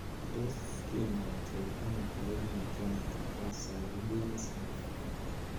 Tos kinyaita ono koimutioniton bo Swyer James syndrome?